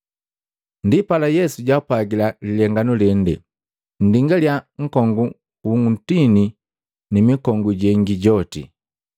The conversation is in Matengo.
Ndipala Yesu jaapwagila lilenganu lende, “Nndingalya nkongu wu ntini ni mikongu jengi joti.